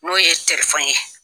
N'o ye telifɔnin ye.